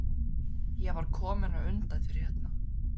Ég var kominn á undan þér hérna?